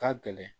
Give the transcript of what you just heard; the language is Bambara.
Ka gɛlɛn